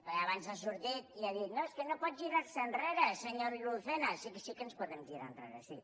perquè abans ha sortit i ha dit no és que no pot girar se enrere senyor lucena sí sí que ens podem girar enrere sí